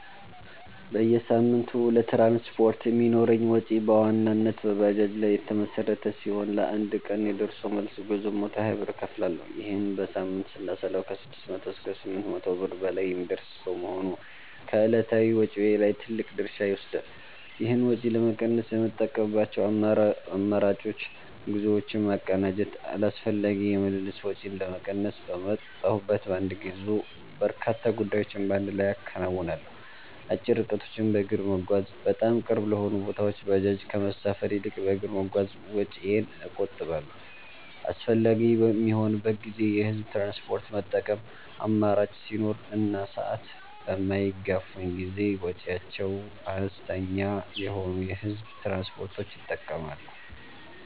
በየሳምንቱ ለትራንስፖርት የሚኖረኝ ወጪ በዋናነት በባጃጅ ላይ የተመሠረተ ሲሆን፣ ለአንድ ቀን የደርሶ መልስ ጉዞ 120 ብር እከፍላለሁ። ይህንን በሳምንት ስናሰላው ከ600 እስከ 800 ብር በላይ የሚደርስ በመሆኑ ከዕለታዊ ወጪዬ ላይ ትልቅ ድርሻ ይወስዳል። ይህን ወጪ ለመቀነስ የምጠቀምባቸው አማራጮች፦ ጉዞዎችን ማቀናጀት፦ አላስፈላጊ የምልልስ ወጪን ለመቀነስ፣ በወጣሁበት በአንድ ጉዞ በርካታ ጉዳዮችን በአንድ ላይ አከናውናለሁ። አጭር ርቀቶችን በእግር መጓዝ፦ በጣም ቅርብ ለሆኑ ቦታዎች ባጃጅ ከመሳፈር ይልቅ በእግር በመጓዝ ወጪዬን እቆጥባለሁ። አስፈላጊ በሚሆንበት ጊዜ የህዝብ ትራንስፖርት መጠቀም፦ አማራጭ ሲኖር እና ሰዓት በማይገፋኝ ጊዜ ወጪያቸው አነስተኛ የሆኑ የህዝብ ትራንስፖርቶችን እጠቀማለሁ።